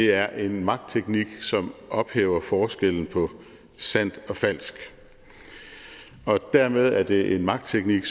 er en magtteknik som ophæver forskellen på sandt og falsk dermed er det en magtteknik